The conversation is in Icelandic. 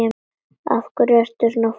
Af hverju ertu svona fúll?